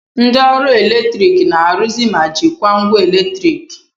Ndị ọrụ eletrik na-arụzi ma jikwaa ngwa eletriki